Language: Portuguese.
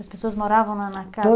As pessoas moravam lá na casa?